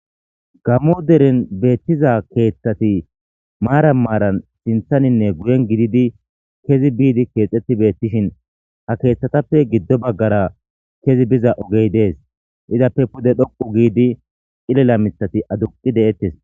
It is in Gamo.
Gammo deren beettiza keeththati maaran maaran sinthaninne guyen gididi kezi biidi keexxetti beettishin ha keeththatappe giddo baggara kezi biza ogey dees appe pude dhoqu giidi ilela mithati aduqi de'ettes.